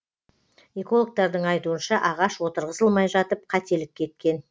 экологтардың айтуынша ағаш отырғызылмай жатып қателік кеткен